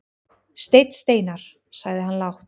Steinn Steinarr, sagði hann lágt.